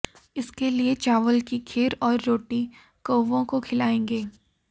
इसके लिए चावल की खीर और रोटी कौवों को खिलाएं